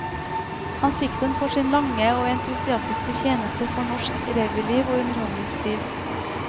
Han fikk den for sin lange og entusiastiske tjeneste for norsk revyliv og underholdningsliv.